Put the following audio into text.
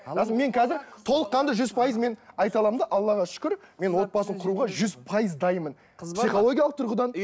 мен қазір толыққанды жүз пайыз мен айталамын да аллаға шүкір мен отбасын құруға жүз пайыз дайынмын психологиялық тұрғыдан